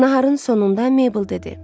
Naharın sonunda Mabel dedi.